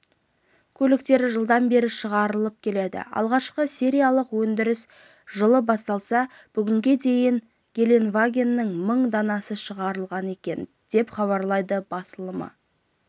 көліктері жылдан бері шығарылып келеді алғашқы сериялық өндіріс жылы басталса бүгінге дейін гелендвагеннің мың данасы шығарылған екен деп хабарлайды басылымы